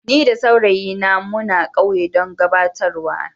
Ni da saurayi na muna kauye dan gabatarwa na.